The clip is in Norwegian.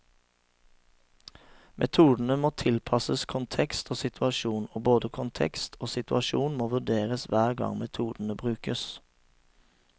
Metodene må tilpasses kontekst og situasjon, og både kontekst og situasjon må vurderes hver gang metodene brukes.